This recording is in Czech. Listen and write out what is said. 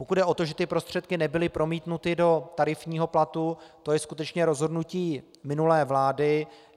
Pokud jde o to, že ty prostředky nebyly promítnuty do tarifního platu, to je skutečně rozhodnutí minulé vlády.